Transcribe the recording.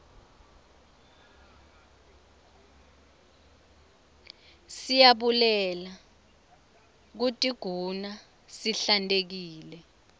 siyabulele kutiguna sihlantekile